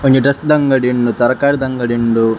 ಒಂಜಿ ಡ್ರೆಸ್ಸ್ದ ಅಂಗಡಿ ಉಂಡು ತರಕಾರಿದ ಅಂಗಡಿ ಉಂಡು.